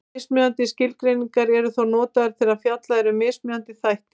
Mismunandi skilgreiningar eru þó notaðar þegar fjallað er um mismunandi þætti.